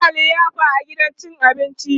suna liyafa a gidan cin abinci